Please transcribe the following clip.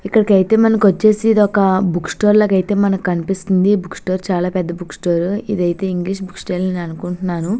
ఇక్కడికైతే మనకొచ్చేసి ఇదొక బుక్ స్టోర్ లాగైతే మనకి కనిపిస్తుంది. ఈ బుక్ స్టోర్ చాలా పెద్ద బుక్ స్టోర్ ఇదైతే ఇంగ్లీష్ బుక్ స్టోర్ అని అనుకుంటున్నాను.